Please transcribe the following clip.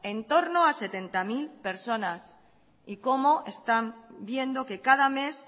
en torno a setenta mil personas y como están viendo que cada mes